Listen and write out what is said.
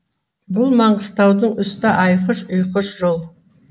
бұл маңғыстаудың үсті айқыш ұйқыш жол